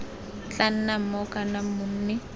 tla nnang mong kana monni